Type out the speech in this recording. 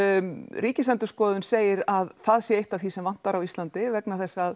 Ríkisendurskoðun segir að það sé eitt af því sem vantar á Íslandi vegna þess að